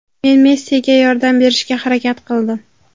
Men Messiga yordam berishga harakat qildim.